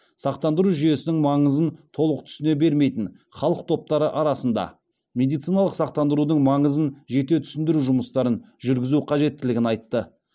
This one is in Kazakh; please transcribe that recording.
сақтандыру жүйесінің маңызын толық түсіне бермейтін халық топтары арасында медициналық сақтандырудың маңызын жете түсіндіру жұмыстарын жүргізу қажеттілігін айтты